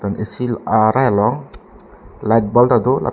AC arai long light ball tado lapen--